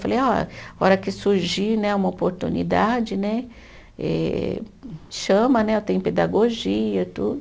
Falei, ó, a hora que surgir né uma oportunidade né, eh eh chama né, tenho pedagogia e tudo.